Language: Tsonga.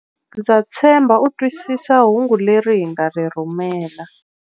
Ndza tshemba u twisisa hungu leri hi nga ri rhumela.